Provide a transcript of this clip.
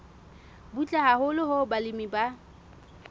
butle haholo hoo balemi ba